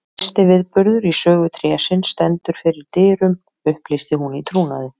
Mesti viðburður í sögu trésins stendur fyrir dyrum upplýsti hún í trúnaði.